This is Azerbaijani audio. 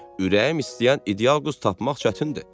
Ürəyim istəyən ideal qız tapmaq çətindir.